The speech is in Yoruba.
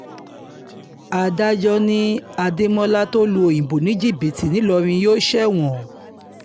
adájọ́ ni adémọlá tó lu òyìnbó ní jìbìtì ńìlọrin yóò ṣẹ̀wọ̀n